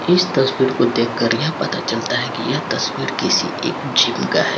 इस तस्वीर को देख कर यह पता चलता हैं की यह तस्वीर किसी एक जिम का हैं।